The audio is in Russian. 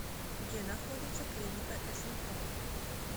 где находится клиника смт